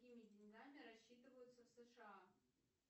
какими деньгами рассчитываются в сша